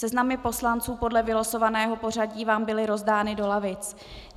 Seznamy poslanců podle vylosovaného pořadí vám byly rozdány do lavic.